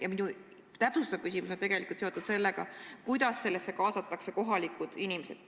Ja minu täpsustav küsimus on seotud sellega, kuidas kaasatakse kohalikud inimesed.